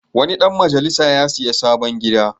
Wani ɗan majalisa ya sayi sabon gida.